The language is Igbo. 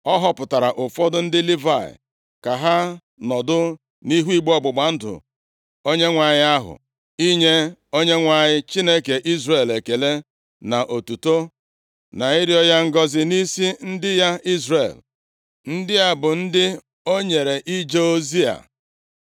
Ọ họpụtara ụfọdụ ndị Livayị ka ha nọdụ nʼihu igbe ọgbụgba ndụ Onyenwe anyị ahụ inye Onyenwe anyị, Chineke Izrel ekele na otuto na ịrịọ ya ngọzị nʼisi ndị ya Izrel. Ndị a bụ ndị o nyere ije ozi a: